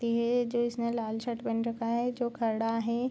ये जो इसने लाल शर्ट पहन रखा है जो खड़ा है।